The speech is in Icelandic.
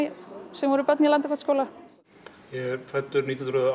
sem vorum börn í Landakotsskóla ég er fæddur nítján hundruð